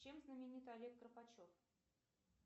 чем знаменит олег карпачев